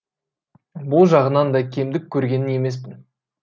бұл жағынан да кемдік көрген емеспін